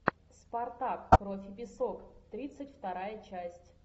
спартак кровь и песок тридцать вторая часть